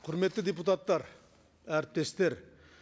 құрметті депутаттар әріптестер